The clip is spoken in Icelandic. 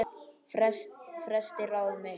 Festi ráð mitt